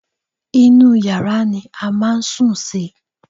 Inú yàrá ni a máa ń sùn sí